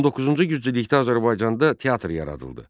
19-cu yüzillikdə Azərbaycanda teatr yaradıldı.